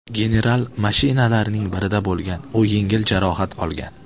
General mashinalarning birida bo‘lgan, u yengil jarohat olgan.